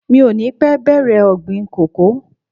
Mi ò ní pẹ́ bèrè ọ̀gbìn kòkó.